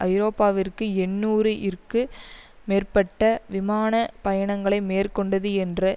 ஐரோப்பாவிற்கு எண்ணூறு இற்கு மேற்பட்ட விமான பயணங்களை மேற்கொண்டது என்று